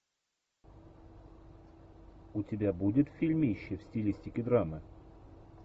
у тебя будет фильмище в стилистике драмы